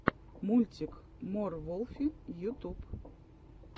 мультик мор волфи ютуб